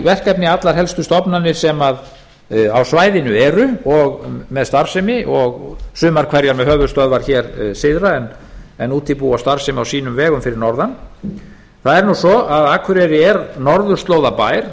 verkefni allar helstu stofnanir sem á svæðinu eru með starfsemi og sumar hverjar með höfuðstöðvar hér syðra en útibú og starfsemi á sínum vegum fyrir norðan það er nú svo að akureyri er norðurslóðabær